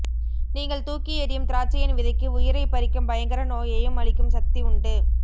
நீங்கள் தூக்கி எறியும் திராட்சையின் விதைக்கு உயிரைப் பறிக்கும் பயங்கர நோயையும் அழிக்கும் சக்தி உண்டு